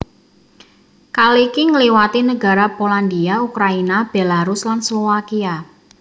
Kaliki ngliwati negara Polandia Ukraina Belarus lan Slowakia